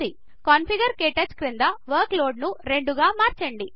configure క్టచ్ క్రింద workload ను రెండు కు మార్చండి